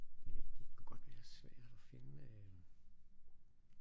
Det kan godt være svært og finde øh